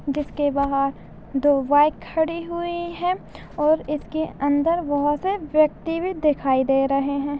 जिसके बाहर दो बाइक खड़े हुए है और इसके अंदर बहोत से व्यक्ति भी दिखाई दे रहे है।